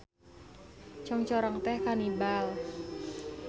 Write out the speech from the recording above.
Congcorang teh kanibal.